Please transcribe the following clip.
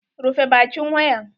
Rufe bakin wayan!